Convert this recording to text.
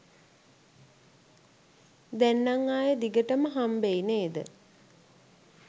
දැන් නම් ආයේ දිගටම හම්බෙයි නේද?